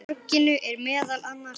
Á torginu eru meðal annars